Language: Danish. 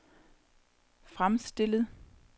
fremstillet